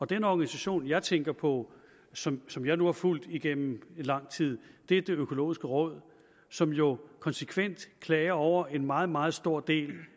den organisation jeg tænker på som som jeg nu har fulgt igennem lang tid er det økologiske råd som jo konsekvent klager over en meget meget stor del